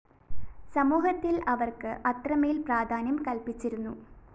സമൂഹത്തില്‍ അവര്‍ക്ക് അത്രമേല്‍ പ്രാധാന്യം കല്‍പ്പിച്ചിരുന്നു